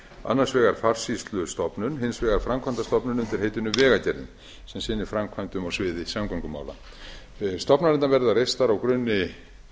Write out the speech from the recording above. annars vegar farsýslustofnun hins vegar framkvæmdastofnun undir heitinu vegagerðin sem sinnir framkvæmdum á sviði samgöngumála stofnanirnar verða reistar á grunni